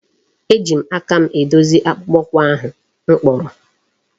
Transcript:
Eji m aka m edozi akpụkpọ ụkwụ ahụ m kpụrụ.